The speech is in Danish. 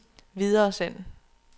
videresend